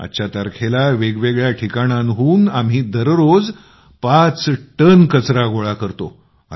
आजच्या तारखेत वेगवेगळ्या ठिकाणांहून आम्ही दररोज पाच टन कचरा गोळा करतो